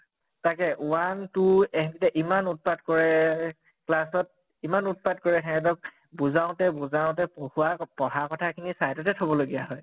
তাকে one two এহঁতে ইমান উৎপাত কৰে class ত ইমান উৎপাত কৰে হেহঁতক বুজাওতে বুজাওতে পঢ়োৱা পঢ়া কথা খিনি side তে থব লগীয়া হয়।